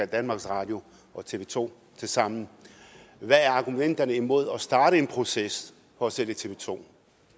danmarks radio og tv to tilsammen hvad er argumenterne imod at starte en proces for at sælge tv 2